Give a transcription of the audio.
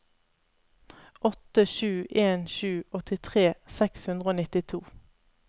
åtte sju en sju åttitre seks hundre og nittito